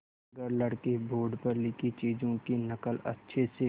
अगर लड़के बोर्ड पर लिखी चीज़ों की नकल अच्छे से